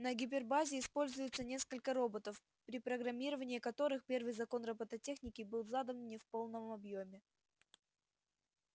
на гипербазе используется несколько роботов при программировании которых первый закон роботехники был задан не в полном объёме